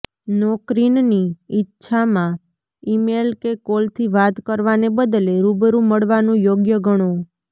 નોકરીનની ઈચ્છામાં ઇમેલ કે કોલથી વાત કરવાને બદલે રૂબરૂ મળવાનું યોગ્ય ગણો